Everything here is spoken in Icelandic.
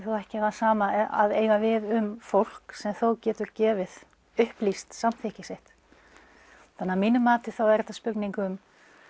ekki það sama að eiga við um fólk sem þó getur gefið upplýst samþykki sitt þannig að mínu mati er þetta spurning um